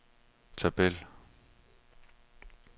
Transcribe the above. tabel